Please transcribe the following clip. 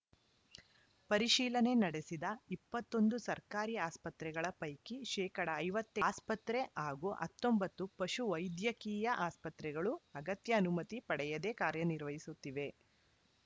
ಪರಿಶೀಲನೆ ನಡೆಸಿದ ಇಪ್ಪತ್ತ್ ಒಂದು ಸರ್ಕಾರಿ ಆಸ್ಪತ್ರೆಗಳ ಪೈಕಿ ಶೇಕಡಾ ಐವತ್ತ್ ಎಂ ಆಸ್ಪತ್ರೆ ಹಾಗೂ ಹತ್ತೊಂಬತ್ತು ಪಶು ವೈದ್ಯಕೀಯ ಆಸ್ಪತ್ರೆಗಳು ಅಗತ್ಯ ಅನುಮತಿ ಪಡೆಯದೆ ಕಾರ್ಯನಿರ್ವಹಿಸುತ್ತಿವೆ